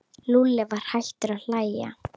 Lúlli var hættur að hlæja.